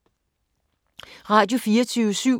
Radio24syv